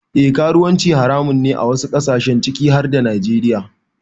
Eh karuwanci haramun ne a wasu kasashe ciki har da Najeriya.